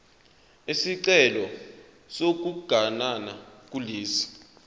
isicelo sokuganana kulesi